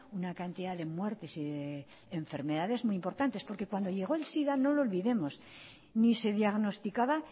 una cantidad de muertes y de enfermedades importantes porque cuando llegó el sida no lo olvidemos ni se diagnosticaba